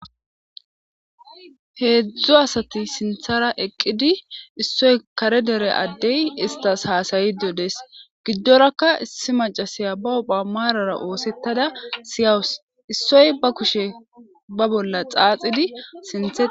heedzdzo asati sinthara eqqidi issoy kare dere addey istas haasayido dees giddorakka issi macasiya ba opha maarara oosettada siyawus issoy ba kushe ba bolla xaaxidi sinthae